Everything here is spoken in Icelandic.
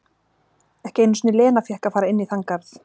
Ekki einu sinni Lena fékk að fara inn í þann garð.